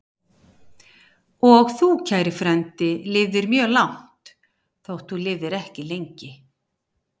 Og þú, kæri frændi, lifðir mjög langt, þótt þú lifðir ekki lengi.